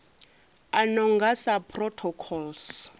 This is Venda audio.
a no nga sa protocols